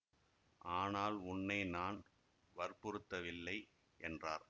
ஆனால் உன்னை நான் வற்புறுத்தவில்லை என்றார்